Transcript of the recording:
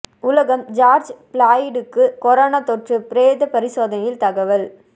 உலகம் ஜார்ஜ் பிளாய்டுக்கு கொரோனா தொற்று பிரேத பரிசோதனையில் தகவல்